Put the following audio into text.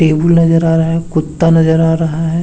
Table नजर आ रहा है कुता नजर आ रहा है।